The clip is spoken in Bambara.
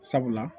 Sabula